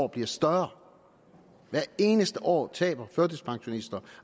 bliver større hvert eneste år taber førtidspensionister